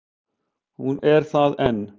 Hún er það enn.